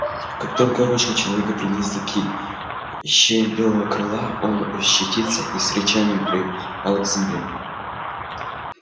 как только рука человека приблизилась к шее белого клыка он ощетинился и с рычанием припал к земле